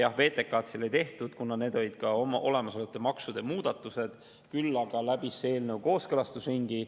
Jah, VTK-d ei tehtud, kuna olid ka olemasolevate maksude muudatused, küll aga läbis see eelnõu kooskõlastusringi.